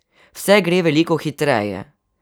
Vse gre veliko hitreje.